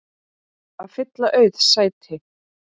að fylla auð sæti.